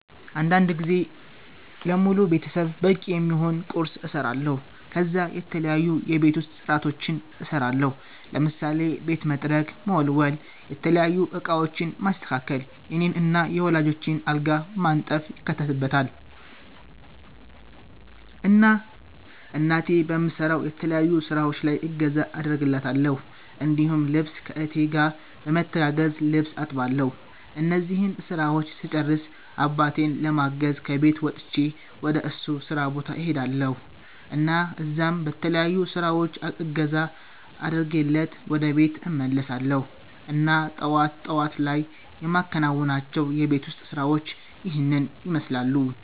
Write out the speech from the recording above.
አንዳንድ ጊዜ ለሙሉ ቤተሰብ በቂ የሚሆን ቁርስ እሰራለሁ ከዛ የተለያዩ የቤት ውስጥ ፅዳቶችን እሰራለሁ ለምሳሌ ቤት መጥረግ፣ መወልወል፣ የተለያዩ እቃወችን ማስተካከል፣ የኔን እና የወላጆቸን አልጋ ማንጠፍ ይካተትበታል። እና እናቴ በምሰራው የተለያዩ ስራወች ላይ እገዛ አደርግላታለሁ እንዲሁም ልብስ ከ እህቴ ጋር በመተጋገዝ ልብስ አጥባለሁ እነዚህን ስራወች ስጨርስ አባቴን ለማገዝ ከቤት ወጥቸ ወደ እሱ ስራ ቦታ እሄዳልሁ እና እዛም በተለያዩ ስራወች እገዛ አድርጌለት ወደ ቤት እመለሳለሁ እና ጠዋት ጠዋት ላይ የማከናዉናቸው የቤት ውስጥ ስራወች ይህንን ይመስላሉ